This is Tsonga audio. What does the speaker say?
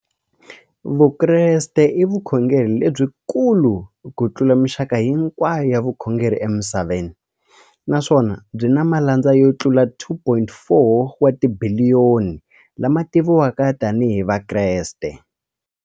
Vukreste i vukhongeri lebyi kulu kutlula mixaka hinkwayo ya vukhongeri emisaveni, naswona byi na malandza yo tlula 2.4 wa tibiliyoni, la ma tiviwaka tani hi Vakreste.